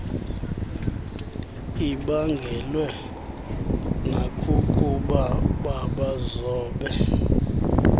ibaangelwe nakukuba babazobe